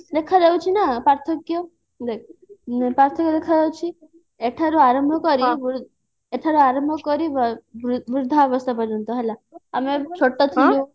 କିଛି ଦେଖା ଯାଉଛି ନା ପାର୍ଥକ୍ଯ ଦେଖ ପାର୍ଥକ୍ଯ ଦେଖା ଯାଉଛି ଏଠାରୁ ଆରମ୍ଭ କରି ଏଠାରୁ ଆରମ୍ଭ କରି ବୃଦ୍ଧା ଅବସ୍ଥା ପର୍ଯ୍ୟନ୍ତ ହେଲା ଆମେ ଛୋଟ ଥିଲୁ